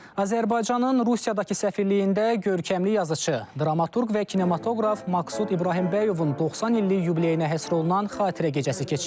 Azərbaycanın Rusiyadakı səfirliyində görkəmli yazıçı, dramaturq və kinematoqraf Maqsud İbrahimbəyovun 90 illik yubileyinə həsr olunan xatirə gecəsi keçirilib.